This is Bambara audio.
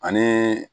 Ani